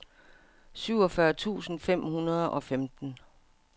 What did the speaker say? syvogfyrre tusind fem hundrede og femten